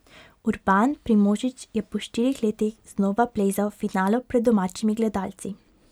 Urban Primožič je po štirih letih znova plezal v finalu pred domačimi gledalci.